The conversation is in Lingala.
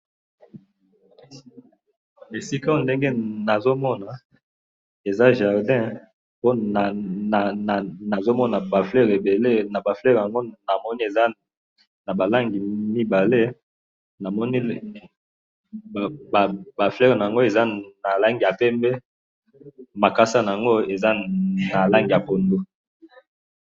Esika oyo ndenge nazomona ezali jardin po nazo mona ba fleur ebele pe naba fleur yango nazomona eza naba langi mibale namoni ba fleur eza na langi ya pembe makasa nango eza na langi ya poundou,